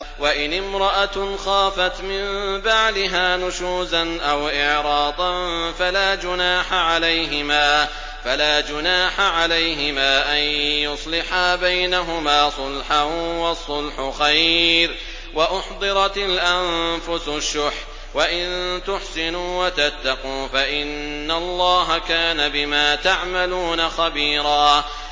وَإِنِ امْرَأَةٌ خَافَتْ مِن بَعْلِهَا نُشُوزًا أَوْ إِعْرَاضًا فَلَا جُنَاحَ عَلَيْهِمَا أَن يُصْلِحَا بَيْنَهُمَا صُلْحًا ۚ وَالصُّلْحُ خَيْرٌ ۗ وَأُحْضِرَتِ الْأَنفُسُ الشُّحَّ ۚ وَإِن تُحْسِنُوا وَتَتَّقُوا فَإِنَّ اللَّهَ كَانَ بِمَا تَعْمَلُونَ خَبِيرًا